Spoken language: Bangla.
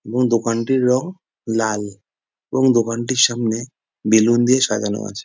এবং দোকানটির রং লাল এবং দোকানটির সামনে বেলুন দিয়ে সাজানো আছে।